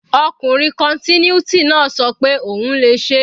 Ọkùnrin continuity náà ṣọ pé òun le ṣeé.